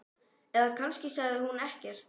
Eða kannski sagði hún ekkert.